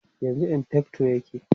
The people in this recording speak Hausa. yanzun infector yake